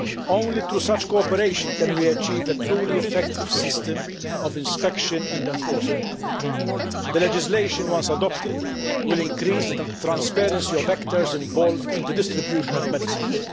Only through such cooperation can we achieve a truly effective system of inspection and enforcement. The legislation, once adopted, will increase the transparency of actors involved in the distribution of medicines.